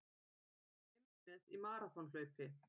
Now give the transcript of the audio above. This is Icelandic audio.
Heimsmet í maraþonhlaupi